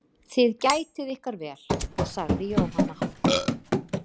Þið gætið ykkar vel, sagði Jóhanna.